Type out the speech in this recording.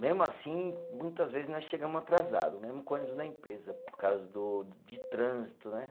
Mesmo assim, muitas vezes nós chegamos atrasado, mesmo com o ônibus da empresa, por causa do de trânsito, né?